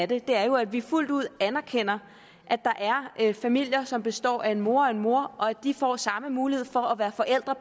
det er jo at vi fuldt ud anerkender at der er familier som består af en mor og en mor og at de får samme mulighed for at være forælder